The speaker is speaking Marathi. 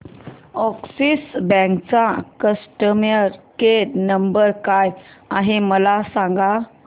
अॅक्सिस बँक चा कस्टमर केयर नंबर काय आहे मला सांगा